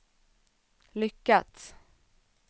lyckats